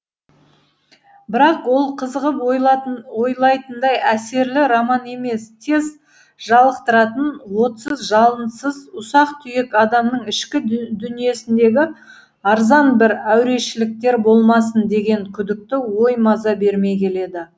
бірақ ол қызығып ойлайтындай әсерлі роман емес тез жалықтыратын отсыз жалынсыз ұсақ түйек адамның ішкі дүниесіндегі арзан бір әурешіліктер болмасын деген күдікті ой маза бермей келеді